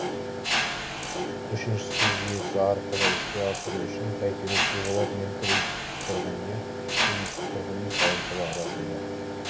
үшіншісі жүйесі арқылы іске асыру үшін бәйтерек девелопмент кредиттік тұрғын үйі кредиттік тұрғын үй салымшылар арасында